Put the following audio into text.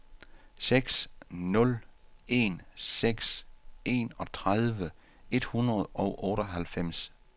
seks nul en seks enogtredive et hundrede og otteoghalvfems